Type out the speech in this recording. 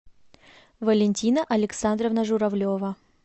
валентина александровна журавлева